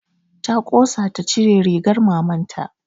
Ta ƙosa ta cire rigar maman ta